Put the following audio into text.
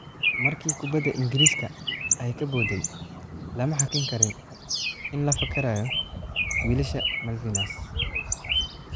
"Markii kubaddu Ingiriiska ay ka boodday, lama hakin karin in la fakarayo wiilasha Malvinas."